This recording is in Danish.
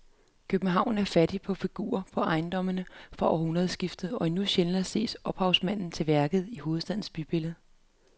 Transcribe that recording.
København er fattig på figurer på ejendommene fra århundredskiftet og endnu sjældnere ses ophavsmanden til værket i hovedstadens bybillede.